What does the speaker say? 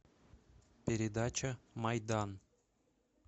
передача майдан